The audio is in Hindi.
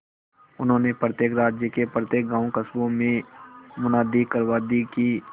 उन्होंने प्रत्येक राज्य के प्रत्येक गांवकस्बों में मुनादी करवा दी कि